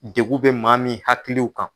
Degun bɛ maa min hakiliw kan